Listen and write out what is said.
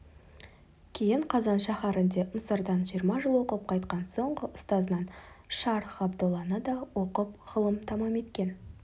кейін қазан шәһәрінде мысырдан жиырма жыл оқып қайтқан соңғы ұстазынан шарх ғабдолланы да оқып ғылым тамам еткен